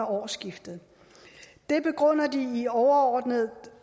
årsskiftet det begrunder de overordnet